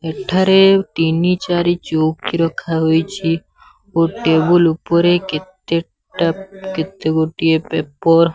ଏଠାରେ ତିନି ଚାରି ଚଉକି ରଖା ହୋଇଛି। ଓ ଟେବୁଲ୍ ଉପରେ କେତେଟା କେତେ ଗୋଟିଏ ପେପ --